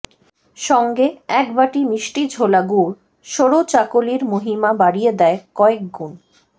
সঙ্গে একবাটি মিষ্টি ঝোলা গুড় সরু চাকলির মহিমা বাড়িয়ে দেয় কয়েক গুণ